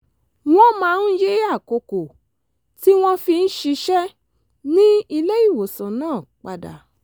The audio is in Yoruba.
wọ́n máa ń yí àkókò tí wọ́n fi ń ṣiṣẹ́ ní ilé-ìwòsàn náà padà